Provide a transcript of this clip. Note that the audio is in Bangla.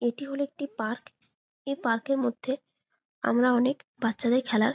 এটি হলো একটি পার্ক এই পার্কের মধ্যে আমরা অনেক বাচ্চাদের খেলার --